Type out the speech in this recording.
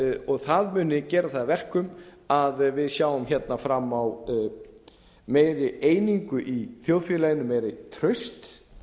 og það muni gera það að verkum að við sjáum hérna fram á meiri einingu í þjóðfélaginu meira traust